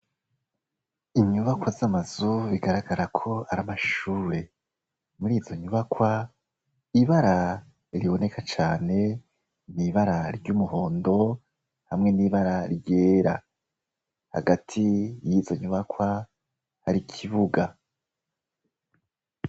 Inyubakwa z'amazu bigaragara ko aramashure muri izo nyubakwa ibara riboneka cane n'ibara ry'umuhondo hamwe n'ibara ryera hagati y'izonyubakwa hari ikibuga.